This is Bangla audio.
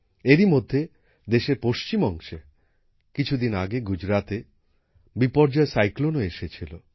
এরই মধ্যে দেশের পশ্চিম অংশে কিছু দিন আগে গুজরাতে বিপর্যয় সাইক্লোনও এসেছিল